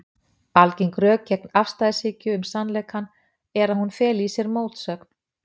Algeng rök gegn afstæðishyggju um sannleikann eru að hún feli í sér mótsögn.